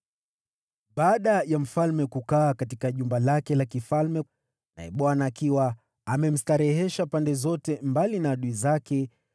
Baada ya mfalme kuingia rasmi katika jumba lake la kifalme, naye Bwana akiwa amemstarehesha pande zote mbali na adui zake,